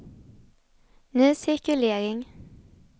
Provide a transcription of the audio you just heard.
ny cirkulering